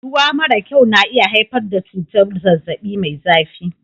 Ruwa mara kyau na iya haifar da cutar zazzabi Mai zafi